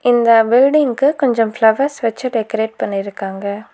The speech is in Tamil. இந்த பில்டிங்க்கு கொஞ்சம் ஃபிளவர்ஸ் வெச்சு டெக்கரேட் பண்ணிருக்காங்க.